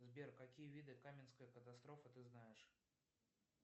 сбер какие виды каменской катастрофы ты знаешь